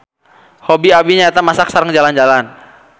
Hobi abdi nyaeta masak sareng jalan-jalan.